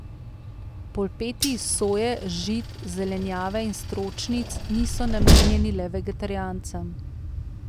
Polpeti iz soje, žit, zelenjave in stročnic niso namenjeni le vegetarijancem.